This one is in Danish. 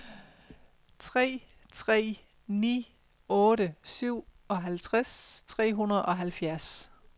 tre tre ni otte syvoghalvtreds tre hundrede og halvfjerds